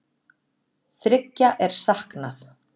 Þriggja er saknað